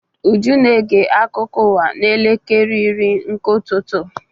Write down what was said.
Uju na-ege akụkọ ụwa n'elekere iri nke ụtụtụ.